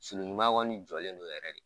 Sulu ɲuman kɔni jɔlen don yɛrɛ de